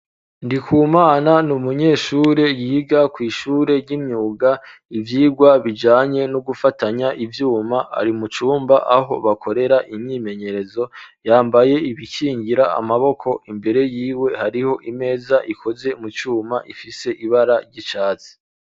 Ndikumana n'umunyeshure yiga kw'ishure ry'imyuga ivyirwa bijanye no gufatanya ivyuma ari mu cumba aho bakorera imyimenyerezo yambaye ibikingira amaboko imbere y'iwe hariho imeza ikoze mu cuma ifise ibara ry'icatsi